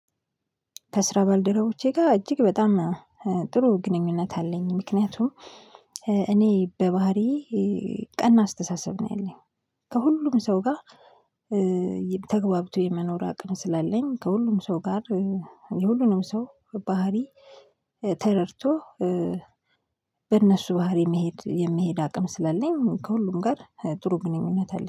ከስራ ባልደረቦቼ ጋር እጅግ በጣም ጥሩ ግንኙነት አለኝ። ምክንያቱም እኔ በባህሪዬ ቀና አስተሳሰብ ነው ያለኝ ከሁሉም ሰው ጋር ተገብቶ የመኖር አቅም ስላለኝ ከሁሉም ሰው ጋር የሁሉንም ሰው ባህሪ ተረድቶ በእነሱ ባህሪ መሄድ የሚሄድ አቅም ስላለኝ ከሁሉም ጋር ጥሩ ግንኙነት አለኝ።